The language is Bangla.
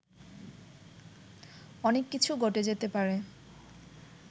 অনেক কিছু ঘটে যেতে পারে